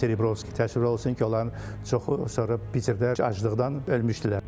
Vaşerebrovski təəssüf olsun ki, onların çoxu sonra Peterdə aclıqdan ölmüşdülər.